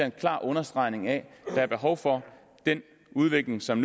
en klar understregning af at der er behov for den udvikling som